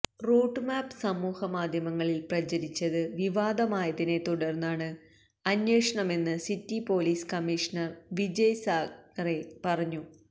root map സമൂഹമാധ്യമങ്ങളിൽ പ്രചരിച്ചത് വിവാദമായതിനെത്തുടർന്നാണ് അന്വേഷണമെന്ന് city police commissioner Vijay Sakhare പറഞ്ഞു